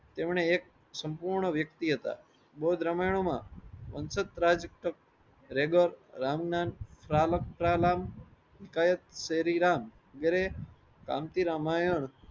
તેમને એક સંપૂર્ણ વ્યક્તિ હતા. બૌદ્ધ રામાયણો માં વંશજ રાજ રામ નામ શ્રી રામ વગેરે કાંતિ રામાયણ